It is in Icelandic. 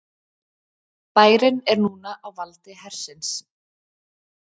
Bærinn er núna á valdi hersins